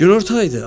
Günorta idi.